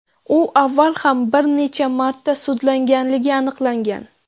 U avval ham bir necha marta sudlanganligi aniqlangan.